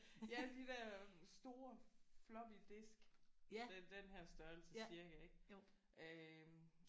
Ja de der store floppy disk det er den her størrelse cirka ik? Øh